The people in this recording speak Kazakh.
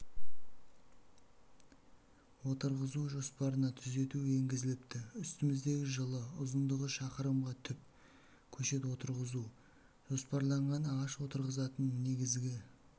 отырғызу жоспарына түзету енгізіліпті үстіміздегі жылы ұзындығы шақырымға түп көшет отырғызу жоспарланған ағаш отырғызатын негізгі